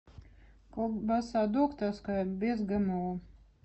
колбаса докторская без гмо